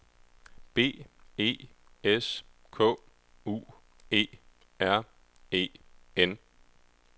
B E S K U E R E N